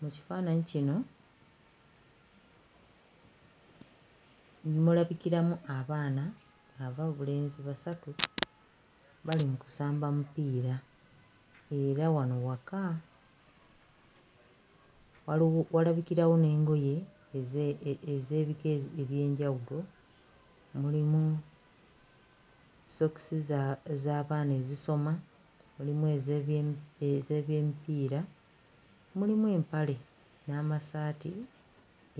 Mu kifaananyi kino mulabikiramu abaana ab'obulenzi basatu bali mu kusamba mupiira era wano waka, waliwo walabikirawo n'engoye eze... ez'ebika eby'enjawulo mulimu ssookisi za z'abaana ezisoma, mulimu ez'ebye... ez'ebyemipiira, mulimu empale n'amassaati